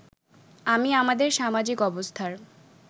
আমি আমাদের সামাজিক অবস্থার